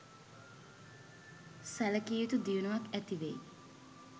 සැලකිය යුතු දියුණුවක් ඇතිවෙයි.